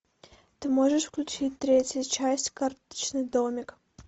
ты можешь включить третью часть карточный домик